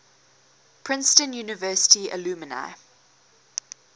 princeton university alumni